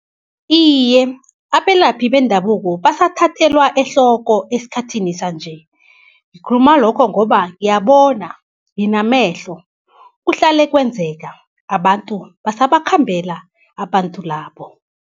Iye, abelaphi bendabuko basathathelwa ehloko esikhathini sanje, ngikhuluma lokho ngoba ngiyabona nginamehlo, kuhlale kwenzeka abantu basabakhambela abantu labo.